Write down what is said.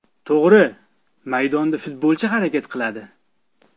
To‘g‘ri, maydonda futbolchi harakat qiladi.